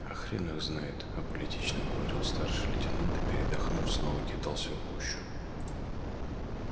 а хрен их знает аполитично говорил старший лейтенант и передохнув снова кидался в гущу